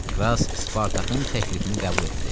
Kras Spartakın təklifini qəbul etdi.